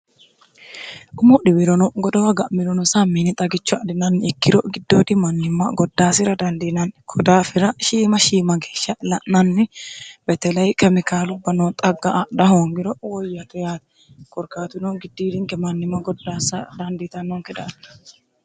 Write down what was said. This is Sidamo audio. umo dhiwirono godowa ga'milono samiini xagicho adinanni ikkiro giddoodi mannimma goddaasira dandiinanni kodaafira shiima shiima geeshsha la'nanni betelai kemikaalubba noo xagga adha hoongiro woyyate yaati korkatuno giddiirinke mannimma goddaasa dandiitannoonke daafira.